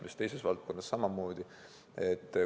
See on mitmes valdkonnas samamoodi.